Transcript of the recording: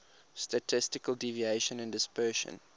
statistical deviation and dispersion